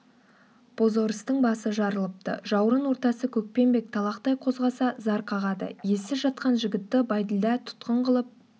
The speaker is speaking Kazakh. бозорыстың басы жарылыпты жауырын ортасы көкпеңбек талақтай қозғаса зар қағады ессіз жатқан жігітті бәйділда тұтқын қылып